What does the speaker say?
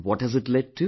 What has it led to